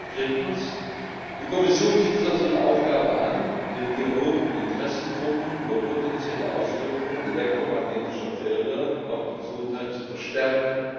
Drittens Die Kommission sieht es als ihre Aufgabe an, den Dialog mit Interessensgruppen über potenzielle Auswirkungen elektromagnetischer Felder auf die Gesundheit zu verstärken.